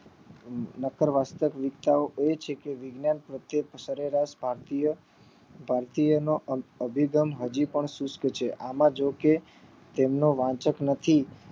નકર વાસ્તવિકતાઓ એ છે કે પહેલા વાચકો ની સરેરાસ ભારતીય નો વિલંભ હજી પણ સુસ્ત છે આમાં જો કે તેમનો વાચક નથી